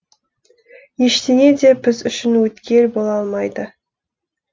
ештеңе де біз үшін өткел бола алмайды